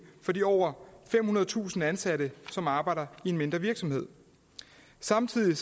for de over femhundredetusind ansatte som arbejder i mindre virksomheder samtidig